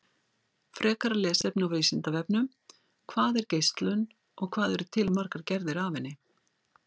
Frekara lesefni á Vísindavefnum: Hvað er geislun og hvað eru til margar gerðir af henni?